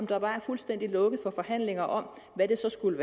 der bare fuldstændig lukket for forhandlinger om hvad det så skulle